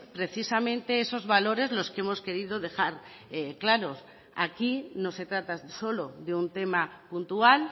precisamente esos valores los que hemos querido dejar claros aquí no se trata solo de un tema puntual